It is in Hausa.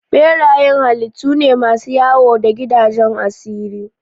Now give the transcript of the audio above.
Berayen halittu ne masu wayo da gidajen asiri.